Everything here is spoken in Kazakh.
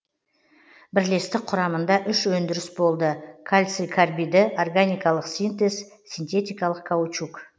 бірлестік құрамыңда үш өңдіріс болды кальций карбиді органикалық синтез синтетикалық каучук